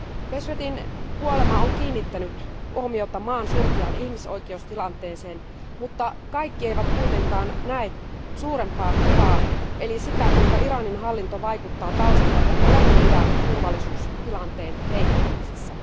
Beheshtin kuolema on kiinnittänyt huomiota maan surkeaan ihmisoikeustilanteeseen, mutta kaikki eivät kuitenkaan näe suurempaa kuvaa, eli sitä, kuinka Iranin hallinto vaikuttaa taustalla koko Lähi idän turvallisuustilanteen heikkenemisessä.